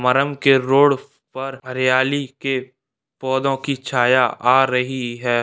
के रोड पर हरियाली के पौधों की छाया आ रही है।